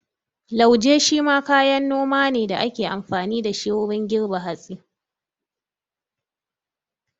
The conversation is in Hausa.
Lauje shi ma kayan noma ne da ake amfani da shi wurin girbe hatsi.